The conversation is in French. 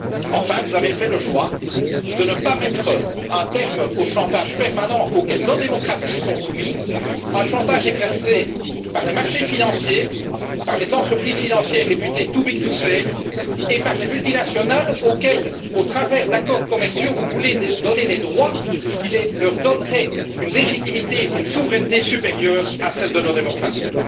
Enfin, vous avez fait le choix de ne pas mettre un terme au chantage permanent auquel nos démocraties sont soumises, un chantage exercé par les marchés financiers, par les entreprises financières réputées trop grosses pour faire faillite et par les multinationales auxquelles, par des accords commerciaux, vous voulez donner des droits qui leur conféreraient une légitimité et une souveraineté supérieures à celles de nos démocraties.